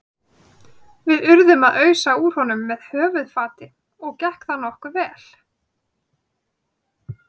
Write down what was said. Við urðum að ausa úr honum með höfuðfati og gekk það nokkuð vel.